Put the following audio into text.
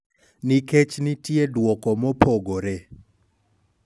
Nikech nitie dwoko mopogore.